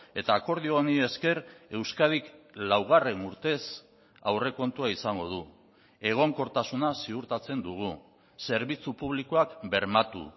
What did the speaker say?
eta akordio honi esker euskadik laugarren urtez aurrekontua izango du egonkortasuna ziurtatzen dugu zerbitzu publikoak bermatu